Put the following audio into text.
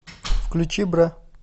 включи бра